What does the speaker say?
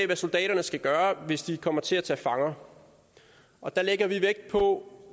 hvad soldaterne skal gøre hvis de kommer til at tage fanger og der lægger vi vægt på